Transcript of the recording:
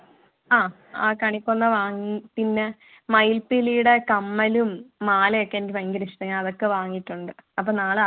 അഹ് കണിക്കൊന്ന വാങ്ങി പിന്നെ മയിൽ പീലിയുടെ കമ്മലും മാലയൊക്കെ എനിക്ക് ഭയകര ഇഷ്ടമാണ് ഞാൻ അതൊക്കെ വാങ്ങിയിട്ടുണ്ട് അപ്പൊ നാളെ